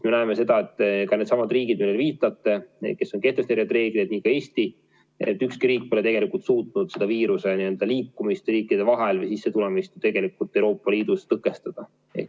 Me näeme seda, et ka needsamad riigid, millele te viitate, need, kes on kehtestanud reeglid – nagu Eesti, pole ka ükski teine riik suutnud viiruse liikumist riikide vahel, selle sissetulemist Euroopa Liidus tõkestada.